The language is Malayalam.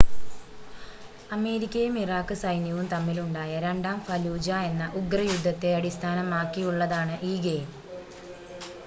അമേരിക്കയും ഇറാഖ് സൈന്യവും തമ്മിൽ ഉണ്ടായ രണ്ടാം ഫലൂജ എന്ന ഉഗ്ര യുദ്ധത്തെ അടിസ്ഥാനമാക്കിയുള്ളതാണ് ഈ ഗെയിം